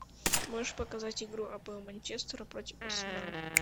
можешь показать игру апл манчестера против арсенала